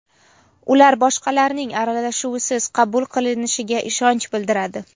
ular boshqalarning aralashuvisiz qabul qilinishiga ishonch bildiradi.